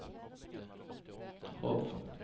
Hov